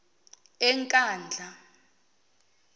enkandla